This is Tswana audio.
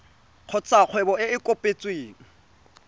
kgotsa kgwebo e e kopetsweng